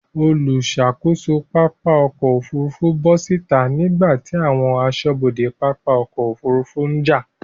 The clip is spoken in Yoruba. Olùṣàkóso pápá ọkọ̀ Òfurufú bọ́ síta nígbàtí àwọn aṣọ́bodè pápá ọkọ̀ Òfurufú ń jà.